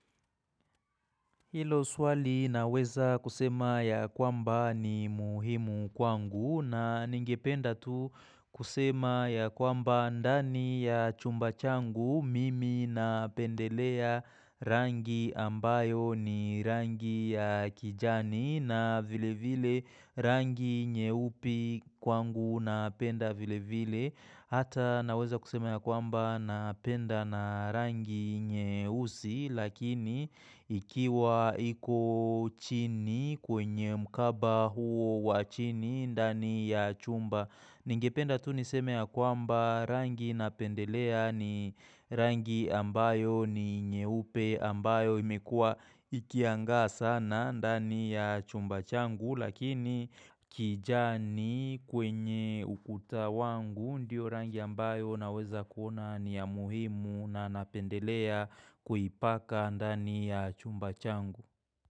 Hilo swali naweza kusema ya kwamba ni muhimu kwangu na ningependa tu kusema ya kwamba ndani ya chumba changu mimi napendelea rangi ambayo ni rangi ya kijani na vile vile rangi nyeupe kwangu na penda vile vile. Hata naweza kuseme ya kwamba napenda na rangi nyeusi lakini ikiwa iko chini kwenye mkaba huo wachini ndani ya chumba., Ningependa tu niseme ya kwamba rangi napendelea ni rangi ambayo ni nyeupe ambayo imekua ikianga sana ndani ya chumba changu Lakini kijani kwenye ukuta wangu ndio rangi ambayo naweza kuona ni ya muhimu na napendelea kuipaka ndani ya chumba changu.